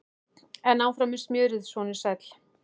En áfram með smjörið, sonur sæll!